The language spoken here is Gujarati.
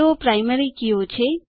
તેઓ પ્રાઈમરી કીઓ છે